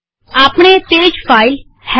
આપણે તે જ ફાઈલહેલો